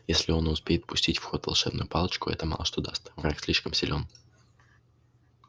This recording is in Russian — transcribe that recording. если он и успеет пустить в ход волшебную палочку это мало что даст враг слишком силён